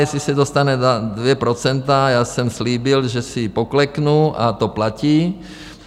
Jestli se dostane na 2 %, já jsem slíbil, že pokleknu, a to platí.